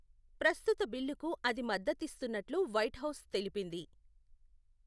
ప్రస్తుత బిల్లుకు అది మద్దతిస్తున్నట్లు వైట్హౌస్ తెలిపింది.